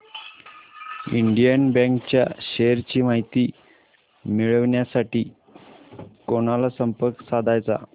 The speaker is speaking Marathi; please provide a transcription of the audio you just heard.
इंडियन बँक च्या शेअर्स ची माहिती मिळविण्यासाठी कोणाला संपर्क साधायचा